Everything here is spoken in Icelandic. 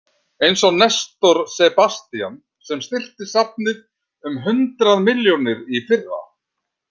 Eins og Nestor Sebastian sem styrkti safnið um hundrað milljónir í fyrra.